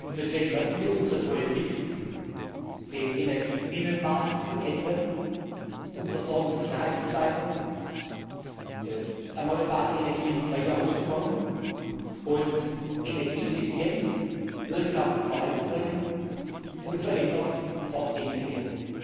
Deswegen werden wir unsere Politik, den Energiebinnenmarkt zu vollenden, um die Versorgungssicherheit zu steigern, erneuerbare Energien weiter auszubauen und Energieeffizienz wirksam voranzubringen, unverändert fortentwickeln.